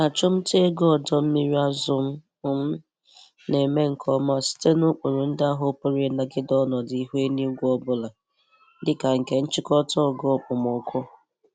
Achụmta ego ọdọ mmiri azụ m m na-eme nke ọma site n'ụkpụrụ ndị ahụ pụrụ ịnagide ọnọdụ ihu eluigwe ọbụla dịka nke nchịkọta ogo okpomọkụ.